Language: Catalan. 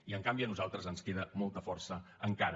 i en canvi a nosaltres ens queda molta força encara